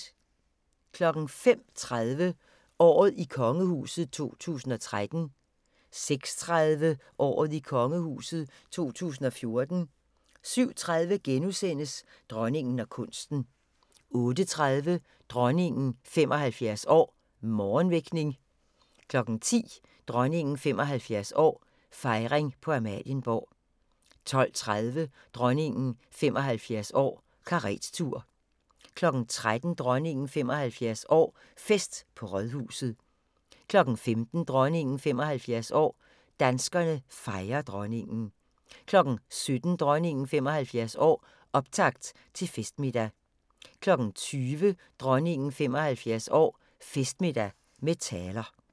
05:30: Året i kongehuset 2013 06:30: Året i kongehuset 2014 07:30: Dronningen og kunsten * 08:30: Dronningen 75 år: Morgenvækning 10:00: Dronningen 75 år: Fejring på Amalienborg 12:30: Dronningen 75 år: Karettur 13:00: Dronningen 75 år: Fest på Rådhuset 15:00: Dronningen 75 år: Danskerne fejrer Dronningen 17:00: Dronningen 75 år: Optakt til festmiddag 20:00: Dronningen 75 år: Festmiddag med taler